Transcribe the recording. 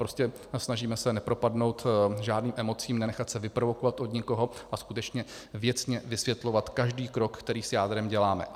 Prostě se snažíme nepropadnout žádným emocím, nenechat se vyprovokovat od nikoho a skutečně věcně vysvětlovat každý krok, který s jádrem děláme.